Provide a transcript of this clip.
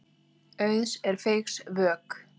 Auðs er feigs vök.